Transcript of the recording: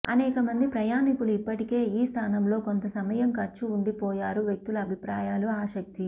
అనేక మంది ప్రయాణికులు ఇప్పటికే ఈ స్థానంలో కొంత సమయం ఖర్చు ఉండిపోయారు వ్యక్తుల అభిప్రాయాలు ఆసక్తి